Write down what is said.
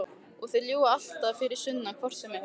Og þeir ljúga alltaf fyrir sunnan hvort sem er.